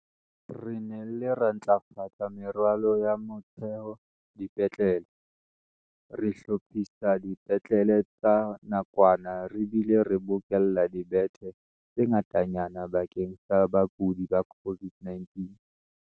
"Re nnile ra ntlafatsa meralo ya motheo dipetlele, re hlophisa dipetlele tsa nakwana re bile re bokella dibethe tse ngatanyana bakeng sa bakudi ba COVID-19."